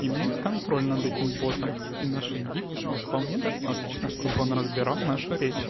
имеем контроль над этим бортом и наши дикции вполне достаточно чтобы он разбирал нашу речь